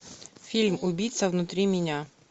фильм убийца внутри меня